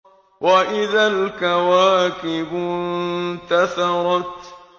وَإِذَا الْكَوَاكِبُ انتَثَرَتْ